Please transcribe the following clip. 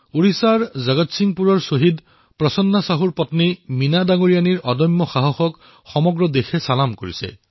উৰিষ্যাৰ জগতসিং পুৰৰ শ্বহীদ প্ৰসন্ন চাহুৰ পত্নী মীনাজীৰ অদম্য সাহসক দেশে তবধ মানিথে